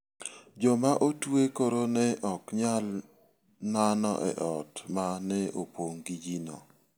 Joma otwe koro ne ok nyal nano e ot ma ne opong' gi ji.